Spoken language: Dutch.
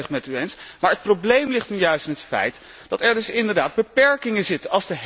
Dat ben ik volledig met u eens, maar het probleem ligt nu juist in het feit dat er dus inderdaad beperking in zit.